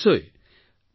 ঠিক আছে ছাৰ